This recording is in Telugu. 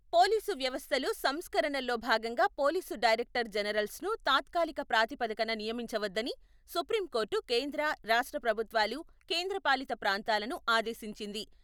పోలీసు వ్యవస్థలో సంస్కరణల్లో భాగంగా పోలీసు డైరెక్టర్ జనర్స్ ను తాత్కాలిక ప్రాతిపదికన నియమించ వద్దని సుప్రీంకోర్టు కేంద్ర, రాష్ట్ర ప్రభుత్వాలు, కేంద్రపాలిత ప్రాంతాలను ఆదేశించింది.